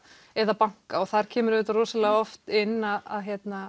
eða banka og þar kemur rosalega oft inn að